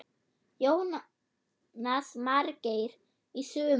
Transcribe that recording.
Jónas Margeir: Í sumar?